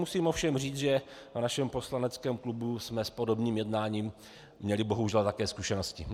Musím ovšem říci, že na našem poslaneckém klubu jsme s podobným jednáním měli bohužel také zkušenosti.